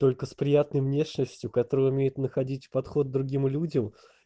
только с приятной внешностью который умеет находить подход к другим людям